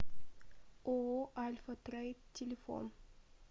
ооо альфа трейд телефон